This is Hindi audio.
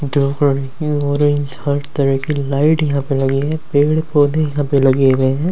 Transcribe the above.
हर तरह की लाइट यहाँ पे लगी है पेड़ पौधे यहाँ पे लगे हुए है।